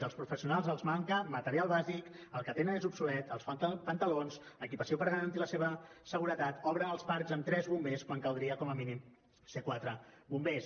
als professionals els manca material bàsic el que tenen és obsolet els falten pantalons equipament per garantir la seva seguretat obren els parcs amb tres bombers quan caldria com a mínim ser quatre bombers